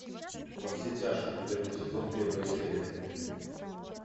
во все тяжкие первый сезон первая серия